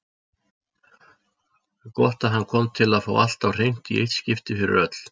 Gott að hann kom til að fá allt á hreint í eitt skipti fyrir öll.